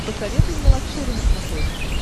посоветуй мне лакшери на смотрешке